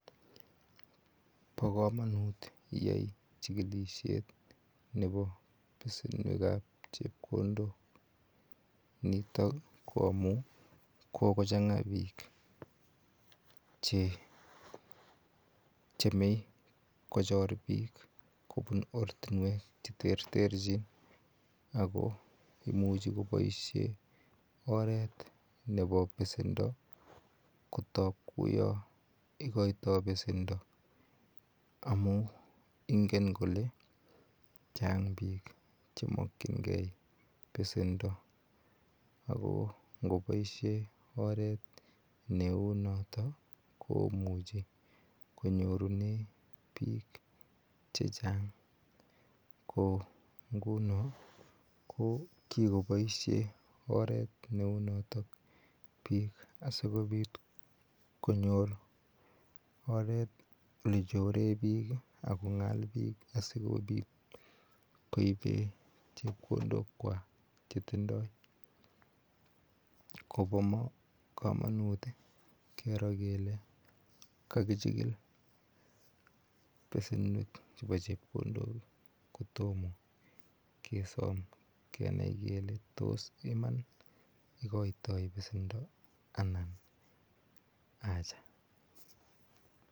Bokomonut iyai chikilishet nebo besenwekab chepkondok nitok ko amun kokochanga bok chemie kochor bik kobun ortinwek cheterterji ako imuchi koboishe oret nebo besendo kotoi kou yon ikoito besendo amun ingen kole chang bik chemokyingee besendo ako ingeboishen oret neunotoo komuche konyorunen bik chechang ko nguno kokikoboishen oret neunotok bik asikobit konyor oret nechoren bik ak kongal bil asikobit koibe chepkondokwak chetindo. kobokomonut keroo kele kakichigil besenwek chebo chepkondok kotomo kesom kenai kele tos iman ikoitoi besendo anan acha.